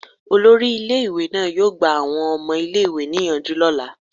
Olori ile iwe naa yoo gba awọn ọmọ ile-iwe niyanju ni ọla